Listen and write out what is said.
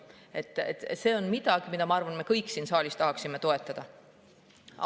Ma arvan, et see on midagi, mida me kõik siin saalis tahaksime toetada.